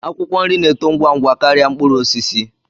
Akwụkwọ nri na-eto ngwa ngwa karịa mkpụrụ osisi